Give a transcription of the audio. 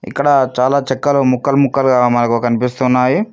ఇక్కడ చాలా చెక్కలు ముక్కలు ముక్కలుగా మనకు కన్పిస్తున్నాయి.